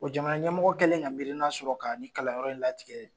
Bɔ jamana ɲɛmɔgɔ kɛlɛn ka mirina sɔrɔ ka nin kalanyɔrɔ in latigɛ